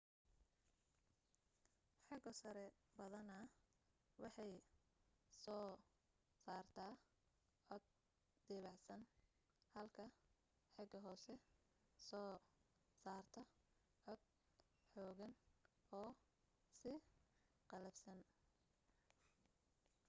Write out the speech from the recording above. xeego-sare badanaa waxay soo saartaa cod debecsan halka xeego-hoose soo saarto cod xooggan oo sii qallafsan